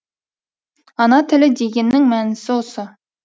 ана тілі дегеннің мәнісі осы